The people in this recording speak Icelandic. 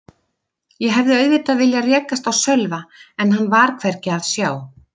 Ég hefði auðvitað viljað rekast á Sölva en hann var hvergi að sjá.